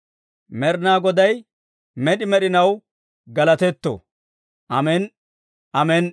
Med'inaa Goday med'i med'inaw galatetto! Amen"i. Amen"i.